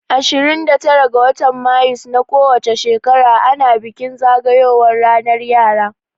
Ashirin da tara ga watan mayus na ko wace shekara ana bikin zagayowan ranar yara